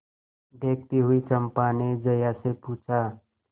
देखती हुई चंपा ने जया से पूछा